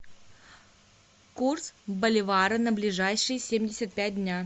курс боливара на ближайшие семьдесят пять дня